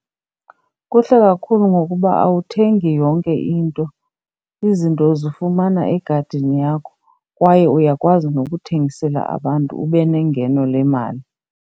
Kuhle kakhulu ngokuba awuthengi yonke into, izinto zifumana egadini yakho kwaye uyakwazi nokuthengisela abantu ube nengeno lemali.